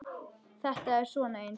Þetta er svona eins og.